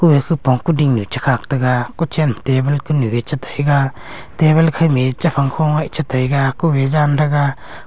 khupong kuding nu che khak tega ku chen ma table kunu a chi taiga table kho ma a chephang kho nge che taiga kuh a jan tega.